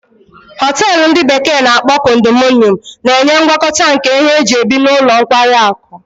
Hotelu ndi bekee na-akpo condominium na-enye ngwakọta nke ihe eji ebi na ụlọ nkwari akụ.